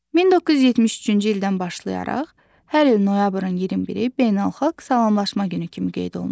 1973-cü ildən başlayaraq hər il noyabrın 21-i beynəlxalq salamlaşma günü kimi qeyd olunur.